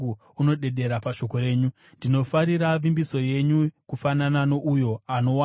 Ndinofarira vimbiso yenyu kufanana nouyo anowana zvakapambwa zvizhinji.